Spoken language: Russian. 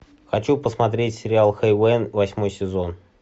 хочу посмотреть сериал хейвен восьмой сезон